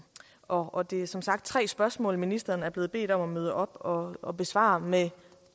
og det er som sagt tre spørgsmål ministeren er blevet bedt om at møde op og og besvare med